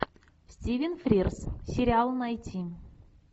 стивен фрирз сериал найти